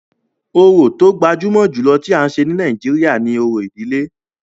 Orò tó gbajúmọ̀ jùlọ tí à ń ṣe ní Nàìjíríà ni òrò ìdílé.